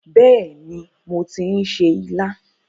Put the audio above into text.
Bẹ́ẹ̀ni, mo ti ń se ilá.